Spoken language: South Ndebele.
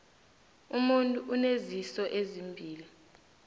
umuntu uneziso ezimbili